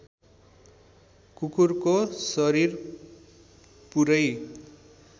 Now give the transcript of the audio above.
कुकुरको शरीर पुरै